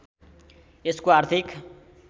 यसको आर्थिक